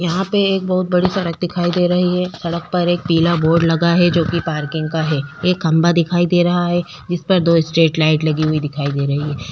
यहाँ पे एक बहुत बड़ी सड़क दिखाई दे रही है। सड़क पर एक पीला बोर्ड लगा है जो की पार्किंग का है। एक खंबा दिखाई दे रहा है जिस पर दो स्ट्रीट लाइट लगी हुई दिखाई दे रही है।